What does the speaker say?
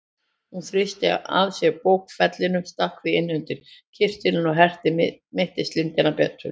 Hún þrýsti að sér bókfellinu, stakk því inn undir kyrtilinn og herti mittislindann betur.